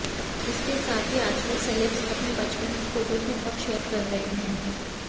इसके साथ ही आजकल सेलेब्स अपने बचपन की फोटोज भी बहुत शेयर कर रहे हैं